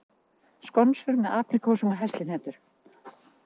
Skonsur með apríkósum og heslihnetum